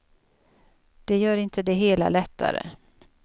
Det gör inte det hela lättare.